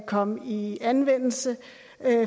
komme i anvendelse